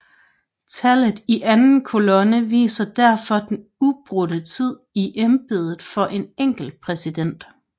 Tallet i anden kolonne viser derfor den ubrudte tid i embedet for en enkelt præsident